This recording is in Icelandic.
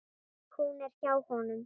Hún er hjá honum.